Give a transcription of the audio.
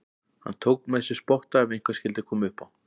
Hann tók með sér spotta ef eitthvað skyldi koma upp á.